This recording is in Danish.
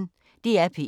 DR P1